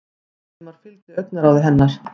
Valdimar fylgdi augnaráði hennar.